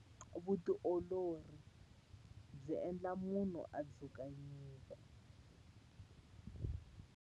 Vutiolori byi endla munhu a dzuka nyuku.